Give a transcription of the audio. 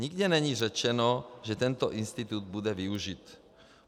Nikde není řečeno, že tento institut bude využit.